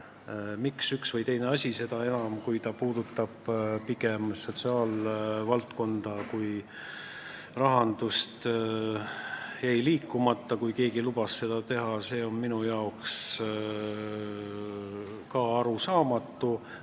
See, miks üht või teist asja – seda enam, kui see puudutab pigem sotsiaalvaldkonda kui rahandust – ei liigutatud, kui keegi oli lubanud seda teha, on ka minu jaoks arusaamatu.